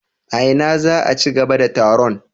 A ina za a ci gaba da taron?